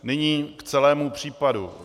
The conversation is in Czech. Nyní k celému případu.